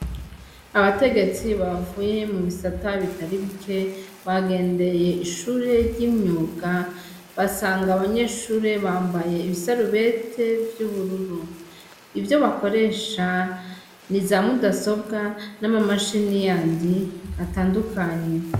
Abategetsi bavuye mu bisata bitari bike bagendeye ishure ry' imyuga basanga abanyeshure bambaye ibisarubete vy' ubururu ivyo bakoresha ni za mudasobwa n' amamashini yandi atandukanye.